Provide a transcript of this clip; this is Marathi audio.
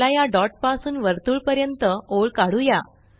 चला या डॉट पासून वर्तुळ पर्यंत ओळ कढूया